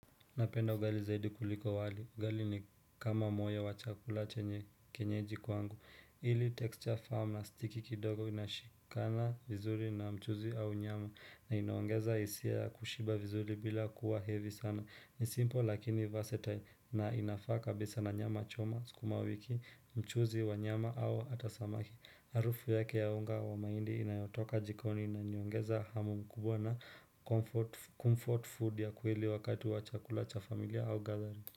Napenda ugali zaidi kuliko wali. Ugali ni kama moyo wa chakula chenye kienyeji kwangu. Ili texture firm na sticky kidogo inashikana vizuri na mchuuzi au nyama na inaongeza hisia kushiba vizuri bila kuwa heavy sana. Ni simpo lakini vasetile na inafaa kabisa na nyama choma sukumawiki, mchuuzi wa nyama au hata samaki. Harufu yake ya unga wa mahindi inayotoka jikoni inaniongeza hamu mkubwa na comfort food ya kweli wakati wa chakula cha familia au gathering.